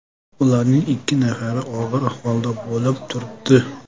Ularning ikki nafari og‘ir ahvolda bo‘lib turibdi.